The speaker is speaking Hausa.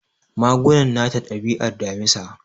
Magunan nata dabi'ar Damisa.